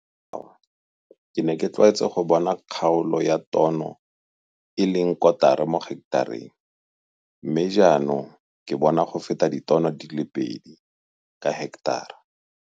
Fa ke jwala dinawa ke ne ke tlwaetse go bona kgaolo ya tono e e leng kotara mo heketareng mme jaanong ke bona go feta ditono tse 2 ka heketara.